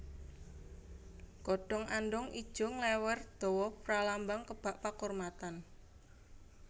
Godhong andhong ijo nglèwèr dawa pralambang kebak pakurmatan